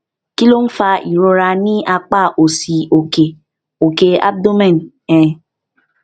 kí ló ń fa ìrora ní apá òsì òkè òkè abdomen um